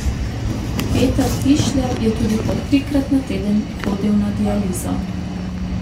Peter Tišler je tudi po trikrat na teden hodil na dializo.